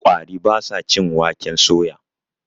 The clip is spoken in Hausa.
ƙwari ba sa cin waken soya